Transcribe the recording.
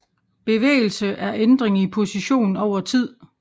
Bevægelse er ændring i position over tid